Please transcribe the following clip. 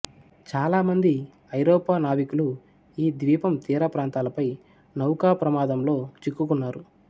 చాలామంది ఐరోపా నావికులు ఈ ద్వీపం తీరప్రాంతాలపై నౌకాప్రామాదంలో చిక్కుకున్నారు